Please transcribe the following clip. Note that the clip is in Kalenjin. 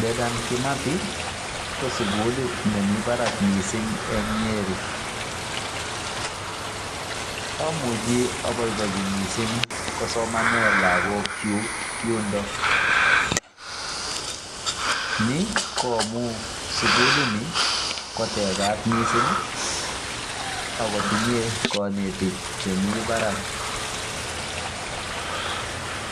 Dedan Kimathi ko sukulit nemi barak mising eng Nyeri. Omuchi abobochi mising kosomane lagokyu yundo. Ni ko amu sukulini ko tekat mising akotinye konetik chemi barak.